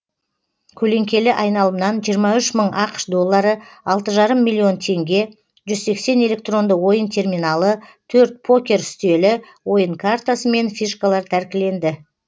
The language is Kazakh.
көлеңкелі айналымнан жиырма үш мың ақш доллары алты жарым миллион теңге жүз сексен электронды ойын терминалы төрт покер үстелі ойын картасы мен фишкалар тәркіленді